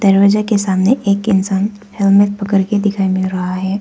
दरवाजे के सामने एक इंसान हेलमेट पकड़ के दिखाई मिल रहा है।